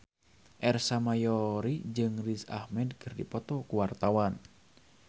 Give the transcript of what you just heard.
Ersa Mayori jeung Riz Ahmed keur dipoto ku wartawan